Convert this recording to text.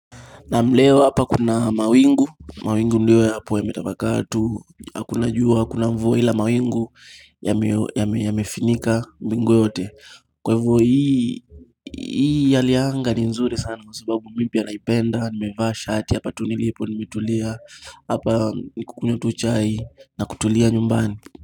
Naam leo hapa kuna mawingu, mawingu ndio yapo yametapakaa tu, hakuna jua, hakuna mvua hila mawingu yamefunika mbingu yote. Kwa hivo hii hali ya anga ni nzuri sana kwa sababu mipya ya naipenda, nimeva shati hapa tu nilipo, nimetulia, hapa kukunywa tu chai na kutulia nyumbani.